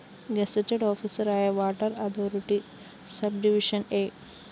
gazetted ഓഫീസറായ water authority subdivision A